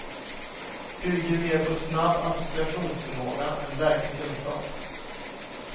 Bygger mer på snabb associationsförmåga än verklig kunskap.